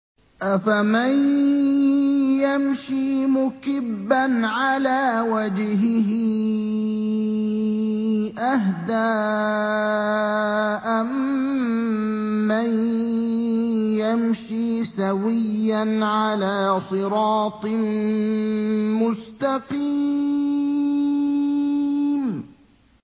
أَفَمَن يَمْشِي مُكِبًّا عَلَىٰ وَجْهِهِ أَهْدَىٰ أَمَّن يَمْشِي سَوِيًّا عَلَىٰ صِرَاطٍ مُّسْتَقِيمٍ